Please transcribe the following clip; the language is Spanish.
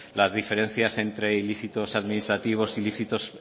las diferencias entre ilícitos administrativos e ilícitos